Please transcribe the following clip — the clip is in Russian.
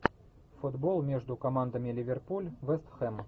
футбол между командами ливерпуль вест хэм